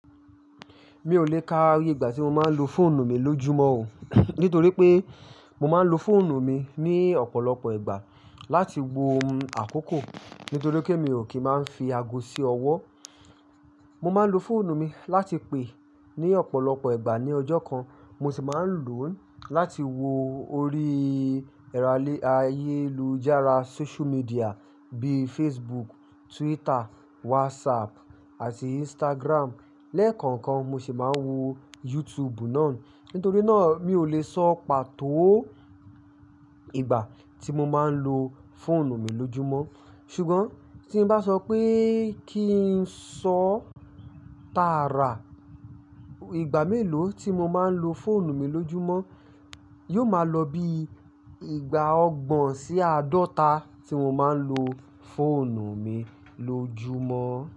Mi ò lè ka iye ìgbà tí mo máa ń lo fóònù mi lójúmọ́ o. Nítorí pé mo máa ń lo fóònù mi ní ọ̀pọ̀lọpọ̀ ìgbà láti wo àkókò. Nítorí pé mi ò kí máa ń fi ago sí ọwọ́. Mo máa ń lo fóònù mi láti pè ní ọ̀pọ̀lọpọ̀ ìgbà ní ọjọ́ kan. Mo sì máa ń lò ó láti wo orí ẹ̀rọ ayélujára social media bíi Facebook, Twitter, WhatsApp àti Instagram. Lẹ́ẹ̀kọ̀ọ̀kan mo sì máa ń wo YouTube náà. Nítorí náà mi ò lè sọ pàtó ìgbà tí mo máa ń lo fóònù mi lójúmọ́. Ṣùgbọ́n tí n bá sọ pé kí n sọ tààrà ìgbà mélòó tí mo máa ń lo fóònù mi lójúmọ́, yóò máa lọ bí ìgbà ọgbọ̀n sí àádọ́ta tí mo máa ń lo fóònù mi lójúmọ́.